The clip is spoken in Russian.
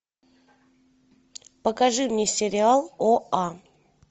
покажи мне сериал оа